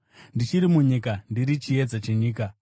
Ndichiri munyika, ndiri chiedza chenyika.”